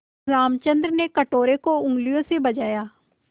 रामचंद्र ने कटोरे को उँगलियों से बजाया